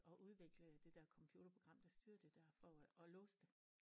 Og udvikle det dér computerprogram der styrer det dér for at låse det